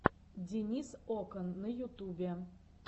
денис окан на ютубе